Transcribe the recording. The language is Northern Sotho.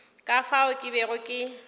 ka fao ke bego ke